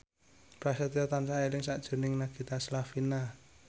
Prasetyo tansah eling sakjroning Nagita Slavina